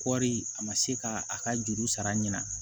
Kɔɔri a ma se ka a ka juru sara ɲina